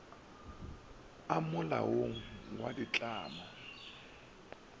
a mo molaong wa ditlamo